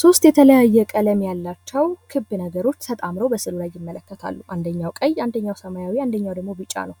ሶስት የተለያየ ቀለም ያላቸው ክብ ነገሮች ተጣምረው በሰው ላይ ይመለከታሉ። አንደኛው ቀይ፣ አንደኛው ሰማያዊ፣ አንደኛው ደግሞ ብጫ ነው።